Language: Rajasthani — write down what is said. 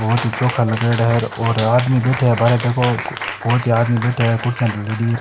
बहोत ही चोखा लागेडा है और आदमी बैठे है बहारे देखो कुर्सियां दलेड़ी है।